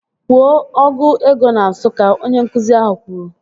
Kwuo ọgụ ego na Nsụka! Onye nkụzi ahụ kwuru